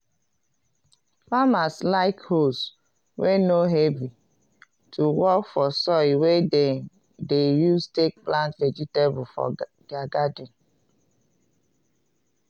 farmers like hoes wey no heavy to work for soil wey dem de use take plant vegetable for their garden